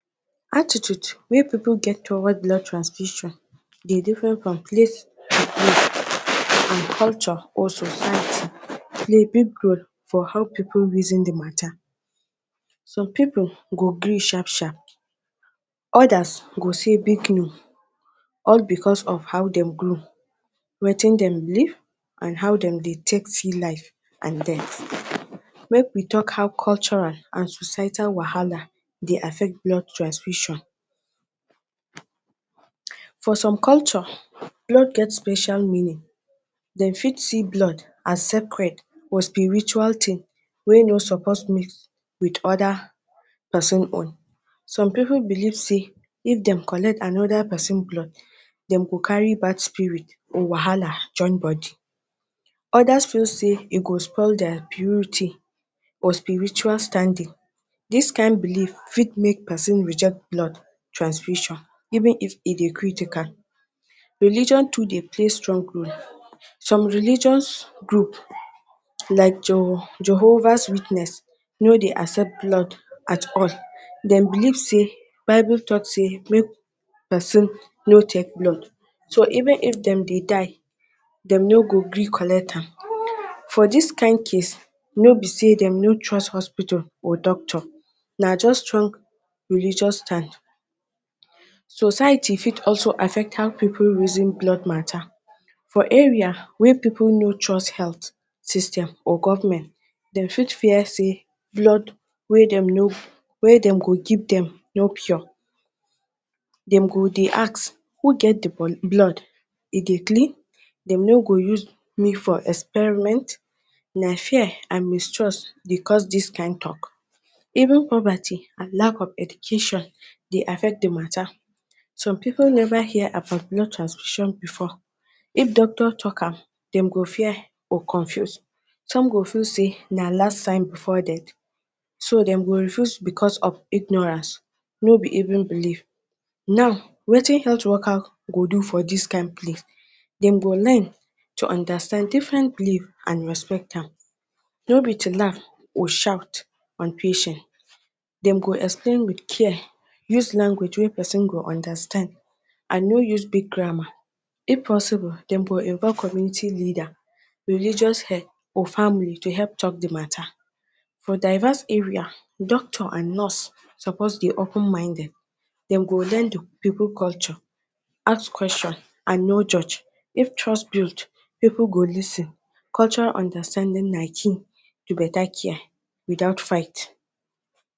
Atittude wey pipu get towards blood transfusion dey different from place and culture or society play big role for how pipu reason de mata. some pipu go gree sharp, sharp others go sey big no all because of how dem grow, wetin dem believe and how dem dey take see life and dead. Make we talk how cultural and societal wahala dey affect blood transfusion. For some culture blood get special meaning dem fit see blood as secrete spiritual thing wey no suppose mix with other person own, some pipu believe sey if dem collect another person blood, dem go carry bad spirit or wahala join body. Others feel sey e go spoil their beauty or spiritual standing. dis kind believe fit make person reject blood transfusion even if e de critical, religion too dey play strong role. Some religion group like Jehovah Witness no de accept blood at all dem believe sey bible talk sey make person no take blood so even if dem de die dem no go gree collect am for this kind case no be sey dem no trust hospital, or doctors na just strong religious type. society fit also affect how pipu dey reason blood mata for area wey pipu no trust health system or government dem fit fear sey blood wey dem go give dem no pour dem go de ask who get de blood dem de clean dem no go use me for experiment na fear and mistrust de cause dis kind talk even poverty and lack of education de affect de mata. some pipu never hear about blood transfusion before if doctor talk am dem go fear or confuse some go feel sey na last sign before dead so dem go refuse because of ignorance no be even believe now, wetin health worker go do for this kind place dem go learn to understand different believe and respect am no be to laugh or shout on patient dem go explain with care use language wey person go understand and no use big grammar if possible dem go involve community leader, religious head or family to help talk the mata for diverse area doctor and nurse suppose de open minded dem go learn d pipu culture ask question and no judge if trust built pipu go lis ten cultural understanding na key to beta care without fight